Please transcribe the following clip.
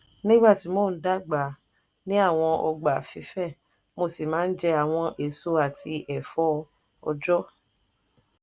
nígbà tí mo ń dàgbà a ní àwọn ọgbà fífẹ̀ mo sì maa ń jẹ àwọn èso àti ẹ̀fọ́ ọ̀jọ́.